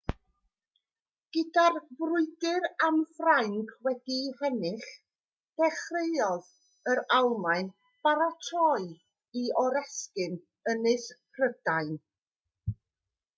gyda'r frwydr am ffrainc wedi'i hennill dechreuodd yr almaen baratoi i oresgyn ynys prydain